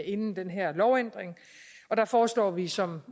inden den her lovændring og der foreslår vi som